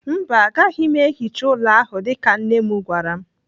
Mba, agaghị m ehicha ụlọ ahụ dịka nne m gwara m.